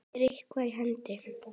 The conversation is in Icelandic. Er eitthvað í hendi?